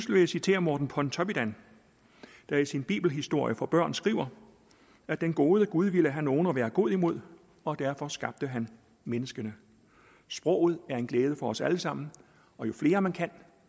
vil jeg citere morten pontoppidan der i sin bibelhistorie for børn skriver at den gode gud ville have nogen at være god imod og derfor skabte han menneskene sproget er en glæde for os alle sammen og jo flere man kan